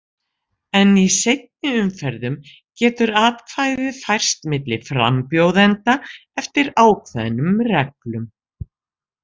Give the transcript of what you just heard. En í seinni umferðum getur atkvæðið færst milli frambjóðenda eftir ákveðnum reglum.